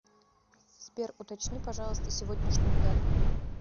сбер уточни пожалуйста сегодняшнюю дату